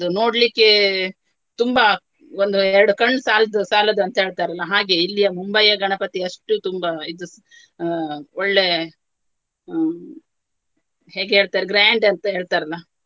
ನೋಡ್ಲಿಕ್ಕೆ ತುಂಬಾ ಒಂದು ಎರಡು ಕಣ್ಣ್ ಸಾಲ್ದು ಸಾಲದು ಅಂತ ಹೇಳ್ತಾರೆ ಅಲ್ಲಾ ಹಾಗೆಯೇ ಇಲ್ಲಿಯ ಮುಂಬೈಯ ಗಣಪತಿ ಅಷ್ಟು ತುಂಬಾ ಇದು ಸ್~ ಅಹ್ ಒಳ್ಳೆ ಹ್ಮ್ ಹೇಗೆ ಹೇಳ್ತಾರೆ grand ಅಂತ ಹೇಳ್ತಾರೆ ಅಲ್ಲಾ.